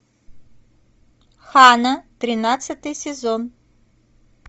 ханна тринадцатый сезон